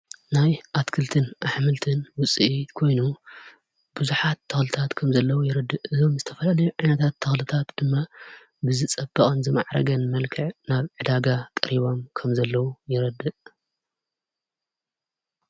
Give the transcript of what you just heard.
ናይ ኣትክልትን ኣኅምልትን ውፂ ኮይኑ ብዙኃት ተዉልታት ከም ዘለዉ ይርድእ እዞም ዝተፈልለዮ ዕነታት ተዉለታት ድማ ብዝጸብዖንዘመዕረገን መልከዕ ናብ ዕዳጋ ቀሪቦም ከም ዘለዉ ይረድእ።